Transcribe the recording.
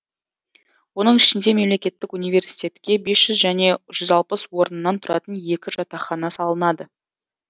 оның ішінде мемлекеттік университетке бес жүз және жүз алпыс орыннан тұратын екі жатақхана салынады